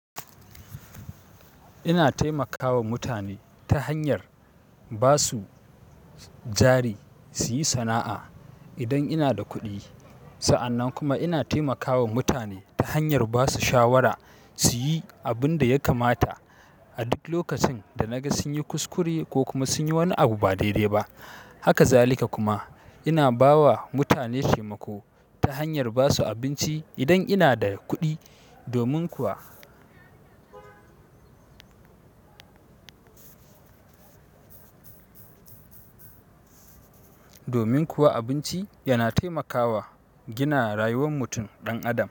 Ina taimakawa mutane ta hanyar ba su jari su yi sana'a idan ina da kuɗi. Sa'annan kuma ina taimakawa mutane ta hanyar ba su shawara su yi abin da ya kamata. A duk lokacin da naga sun yi kuskure ko kuma sun yi wani abu ba daidai ba. Haka zalika kuma ina ba wa mutane taimako ta hanyar ba su abinci idan ina da kuɗi. Domin kuwa, domin kuwa abinci yana taimakawa gina rayuwar mutum ɗan adam.